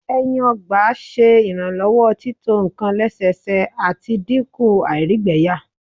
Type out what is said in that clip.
ẹyin ọgba ṣe iranlọwọ tito nkan lẹsẹsẹ, ati dinku àìrígbẹyà